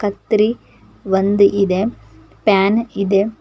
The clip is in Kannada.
ಕತ್ರಿ ಒಂದ್ ಇದೆ ಪ್ಯಾನ್ ಇದೆ.